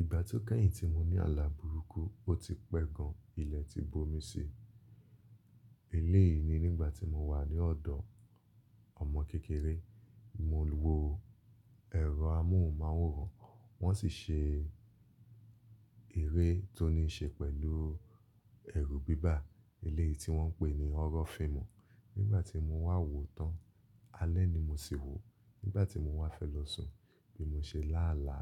Ìgbà tó kẹ́yìn tí mo ní àlà burúkú, ó ti pẹ́ gan, ilẹ̀ ti bomi sí. Elé yìí ni nígbà tí mo wà ní ọ̀dọ̀ ọmọ kékeré, mo wo ẹ̀rọ amóhùnmáwòrán, wọ́n sì ṣe eré tó ní ṣe pẹ̀lú ẹrù bíbá, elé yìí tí wọ́n ń pè ní horror fíìmù. Nígbà tí mo wà wò tán, alẹ́ ni mo sì wò. Nígbà tí mo wà fẹ́ lọ sùn, bí mo ṣe lá àlá,